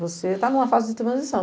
Você tá em uma fase de transição.